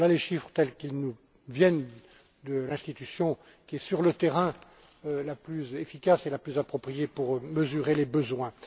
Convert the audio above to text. Voilà les chiffres tels qu'ils nous viennent de l'institution qui est, sur le terrain, la plus efficace et la plus appropriée pour mesurer les besoins.